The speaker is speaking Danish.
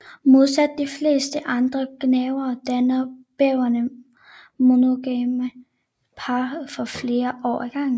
Modsat de fleste andre gnavere danner bæveren monogame par for flere år ad gangen